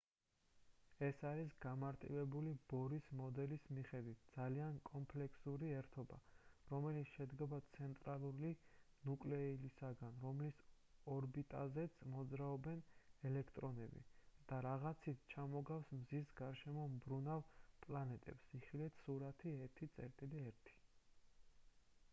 ეს არის გამარტივებული ბორის მოდელის მიხედვით ძალიან კომპლექსური ერთობა რომელიც შედგება ცენტრალური ნუკლეუსისგან რომლის ორბიტაზეც მოძრაობენ ელექტრონები და რაღაცით ჩამოგავს მზის გარშემო მბრუნავ პლანეტებს იხილეთ სურათი 1.1